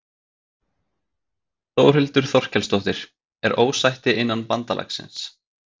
Þórhildur Þorkelsdóttir: Er ósætti innan bandalagsins?